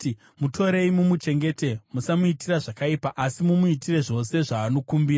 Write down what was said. “Mutorei mumuchengete; musamuitira zvakaipa asi mumuitire zvose zvaanokumbira.”